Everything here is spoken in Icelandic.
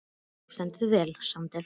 Þú stendur þig vel, Sandel!